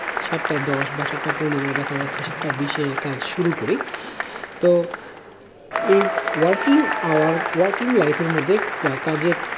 সাতটা দশ বা সাতটা পনেরো দেখা যাচ্ছে সাতটা বিশ এ কাজ শুরু করি তো এই working hour working life এর মধ্যে কাজে